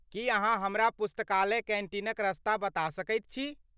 की अहाँ हमरा पुस्तकालय कैन्टीनक रस्ता बता सकैत छी?